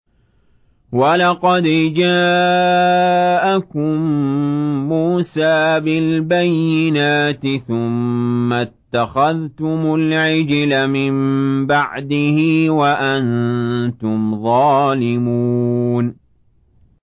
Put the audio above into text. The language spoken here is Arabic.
۞ وَلَقَدْ جَاءَكُم مُّوسَىٰ بِالْبَيِّنَاتِ ثُمَّ اتَّخَذْتُمُ الْعِجْلَ مِن بَعْدِهِ وَأَنتُمْ ظَالِمُونَ